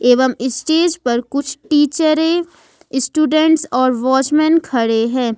एवं स्टेज पर कुछ टीचरे स्टूडेंट्स और वॉचमैन खड़े हैं।